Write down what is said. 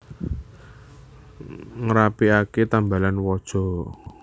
Ngrapiake tambalan waja